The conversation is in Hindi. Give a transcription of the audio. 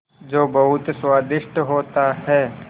जो बहुत स्वादिष्ट होता है